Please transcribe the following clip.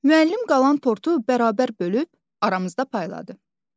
Müəllim qalan tortu bərabər bölüb, aramızda payladı.